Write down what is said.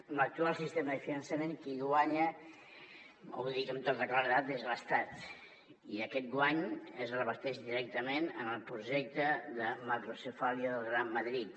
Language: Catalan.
amb l’actual sistema de finançament qui hi guanya ho dic amb tota claredat és l’estat i aquest guany es reverteix directament en el projecte de macrocefàlia del gran madrid